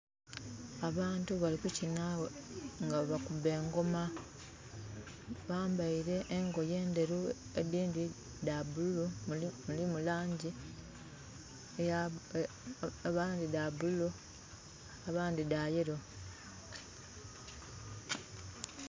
Abantu bali kukinha nga bwebakuba engoma bambeire engoye endheru edindhi dha bululu, mulimu langi...abandhi dha bululu abandhi dha yellow.